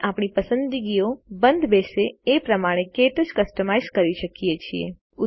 આપણે આપણી પસંદગીઓ બંધબેસશે એ પ્રમાણે ક્ટચ કસ્ટમાઇઝ કરી શકીએ છીએ